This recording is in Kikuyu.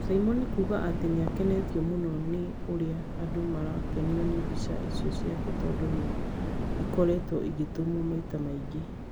Caimo nĩ kuga atĩ nĩ akenetio mũno nĩ ũrĩa andũ marakenio nĩ mbica icio ciake tondũ nĩ ikoretwo igĩtumwo maita maingĩ.